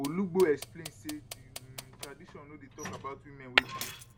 olugbo explain say di um tradition no dey tok about women wey bleach